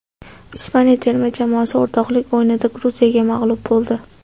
Ispaniya terma jamoasi o‘rtoqlik o‘yinida Gruziyaga mag‘lub bo‘ldi .